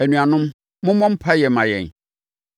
Anuanom, mommɔ mpaeɛ mma yɛn.